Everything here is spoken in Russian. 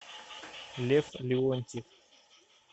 лев леонтьев